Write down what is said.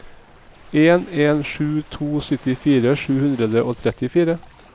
en en sju to syttifire sju hundre og trettifire